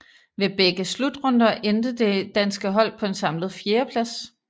Ved begge slutrunder endte det danske hold på en samlet fjerdeplads